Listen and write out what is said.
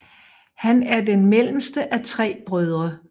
Han er den mellemste af tre brødre